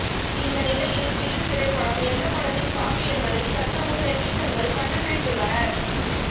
இந்த நிலையில் பிகில் திரைப்படம் எந்த படத்தின் காப்பி என்பதை சற்று முன் நெட்டிசன்கள் கண்டுபிடித்துள்ளனர்